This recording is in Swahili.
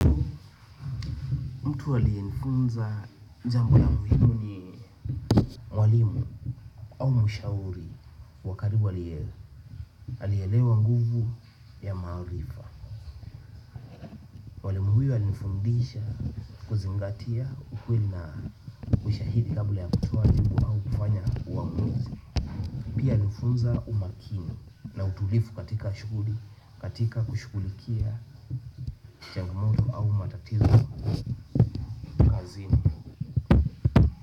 Mtu aliyenifunza jambo na muhimu ni mwalimu au mshauri wa karibu alielewa nguvu ya maarifa. Mwalimu huyo alinifundisha kuzingatia ukweli na ushahidi kabla ya kutoa jibu au kufanya uamuzi. Pia alinifunza umakini na utulivu katika shughuli katika kushughulikia jambo muru au matatizo kazini.